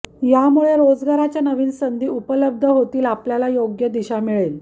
यामुळे रोजगाराच्या नवीन संधी उपलब्ध होतील आपल्याला योग्य दिशा मिळेल